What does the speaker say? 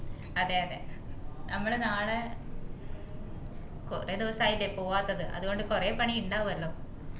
അതെ അതെ നമ്മള് നാളെ കൊറേ ദിവസായില്ലേ പോവാത്തത് അത്കൊണ്ട് കൊറേ പണി ഇന്ടാവുഅല്ലോ